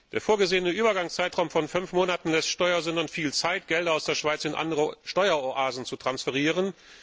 Der vorgesehene Übergangszeitraum von fünf Monaten lässt Steuersündern viel Zeit, um Gelder aus der Schweiz in andere Steueroasen zu transferieren.